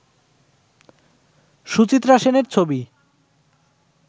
সুচিত্রা সেনের ছবি